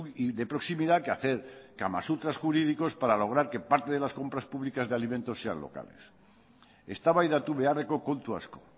y de proximidad que hacer kamasutras jurídicos para lograr que parte de las compras públicas de alimento sean locales eztabaidatu beharreko kontu asko